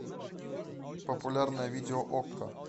популярное видео окко